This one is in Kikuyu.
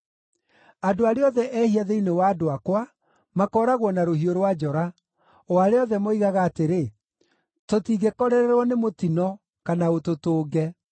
Andũ arĩa othe ehia thĩinĩ wa andũ akwa makooragwo na rũhiũ rwa njora, o arĩa othe moigaga atĩrĩ, ‘Tũtingĩkorererwo nĩ mũtino, kana ũtũtũnge.’